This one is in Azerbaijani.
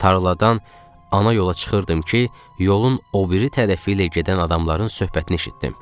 Tarladan ana yola çıxırdım ki, yolun o biri tərəfi ilə gedən adamların söhbətini eşitdim.